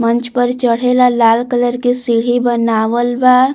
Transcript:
मंच पर चढ़ेला लाल कलर के सीढी बनावल बा।